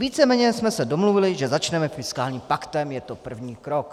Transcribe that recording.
Víceméně jsme se domluvili, že začneme fiskálním paktem, je to první krok."